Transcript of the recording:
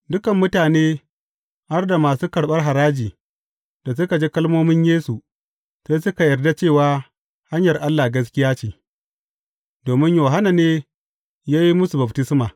Dukan mutane, har da masu karɓar haraji, da suka ji kalmomin Yesu, sai suka yarda cewa hanyar Allah gaskiya ce, domin Yohanna ne ya yi musu baftisma.